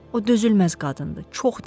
O dözülməz qadındır, çox deyingəndir.